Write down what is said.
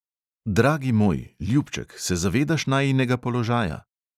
Dragi moj, ljubček, se zavedaš najinega položaja?